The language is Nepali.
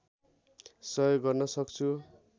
सहयोग गर्न सक्छु